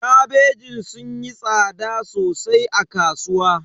Kabejin sun yi tsada sosai a kasuwa.